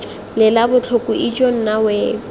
lela botlhoko ijoo nna we